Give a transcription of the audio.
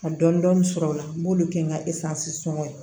Ka dɔn dɔni sɔrɔ o la n b'olu kɛ n ka sɔngɔ ye